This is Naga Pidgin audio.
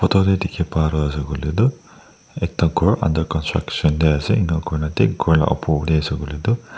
tate dikhe pai toh ase koile toh ekta ghor under construction de ase inika koi na thik ghor laga opor te ase koile toh--